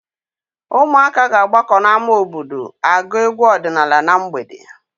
Ụmụaka ga-agbakọ n'ámá obodo agụ egwu ọdịnaala na mgbede.